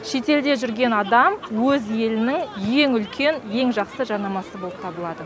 шетелде жүрген адам өз елінің ең үлкен ең жақсы жарнамасы болып табылады